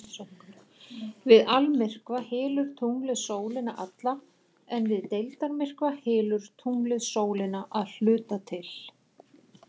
Við almyrkva hylur tunglið sólina alla en við deildarmyrkva hylur tunglið sólina að hluta til.